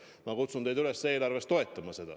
Ma kutsun teid üles eelarves seda toetama.